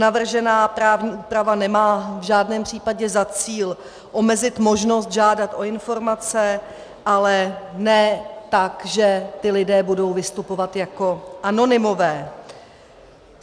Navržená právní úprava nemá v žádném případě za cíl omezit možnost žádat o informace, ale ne tak, že ti lidé budou vystupovat jako anonymové.